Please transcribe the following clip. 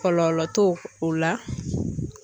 Kɔlɔlɔ t'o o la.